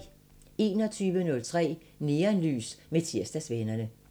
21:03: Neonlys med Tirsdagsvennerne